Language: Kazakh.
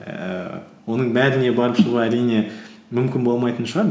ііі оның бәріне барып шығу әрине мүмкін болмайтын шығар